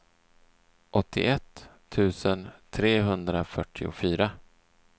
åttioett tusen trehundrafyrtiofyra